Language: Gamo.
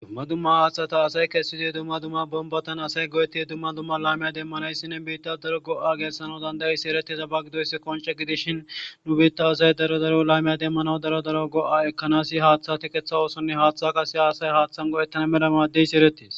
Dumma dumma haaththata asay kessidoy dumma dumma bombatan asay go7eti ye dumma dumma laymiya demmanayssinne biitta daro go'a geessana dandayisi ereti sabagi doyssi qonce gidishin nu biitta uzay daro daro laymiya demmanaw daro daro go'a ekkanas haaththa tikeththa oosonne haaththa qase haasay haaththan go7ettana meda maaddeysi eretes.